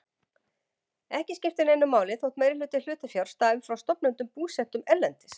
Ekki skiptir neinu máli þótt meirihluti hlutafjár stafi frá stofnendum búsettum erlendis.